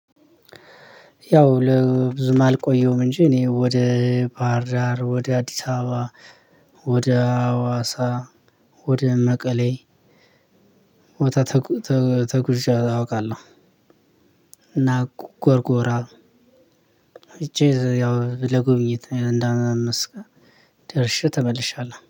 ያው ለብዙም አልቆየሁም እንጂ እኔ ወደ ባህር ዳር ወደ አዲስ አበባ ወደ ሀዋሳ ወደ መቀሌ ወደ ተጉዥ አውቃለሁ። እና ጎርጎራ ሂጀ ያው ለጎብኝት እንዳአምትቀን ደርሼ ተመልሻለሁ